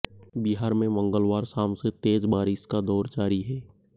बिहार में मंगलवार शाम से तेज बारिश का दौर जारी है